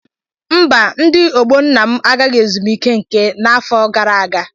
Mba, ndị ọgbọ nna m agaghị ezumike nka n'afọ gara aga.